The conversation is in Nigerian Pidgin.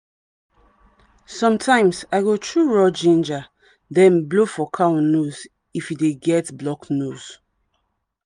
sometimes i go chew raw ginger then blow for cow nose if e dey get blocked nose.